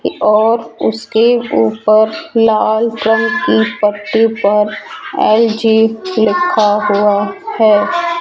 और उसके ऊपर लाल रंग की पट्टी पर एल_जी लिखा हुआ है।